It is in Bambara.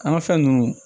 An ka fɛn ninnu